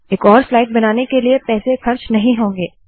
एक और स्लाइड बनाने के लिए पैसे खर्च नहीं होंगे